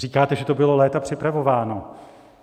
Říkáte, že to bylo léta připravováno.